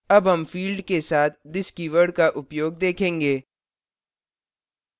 अब हम फिल्ड के साथ this कीवर्ड का उपयोग देखेंगे